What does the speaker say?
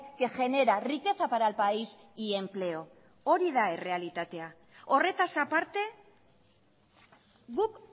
que genera riqueza para el país y empleo hori da errealitatea horretaz aparte guk